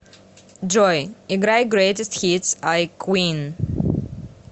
джой играй грейтест хитс ай квин